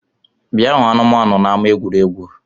Bịa hụ anụmanu n’ama egwuregwu!